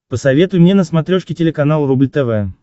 посоветуй мне на смотрешке телеканал рубль тв